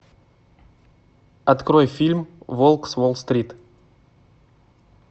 открой фильм волк с уолл стрит